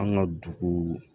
An ka dugu